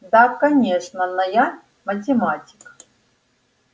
да конечно но я математик